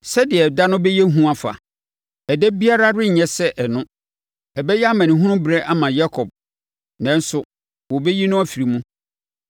Sɛdeɛ da no bɛyɛ hu afa! Ɛda biara renyɛ sɛ ɛno. Ɛbɛyɛ amanehunu berɛ ama Yakob, nanso, wɔbɛyi no afiri mu.